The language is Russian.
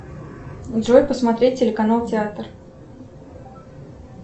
джой посмотреть телеканал театр